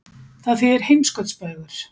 Það þýðir heimskautsbaugur.